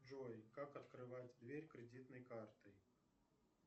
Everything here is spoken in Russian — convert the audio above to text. джой как открывать дверь кредитной картой